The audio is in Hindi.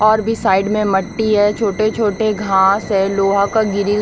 और भी साइड में मिट्टी है छोटे छोटे घास है लोहा का ग्रिल --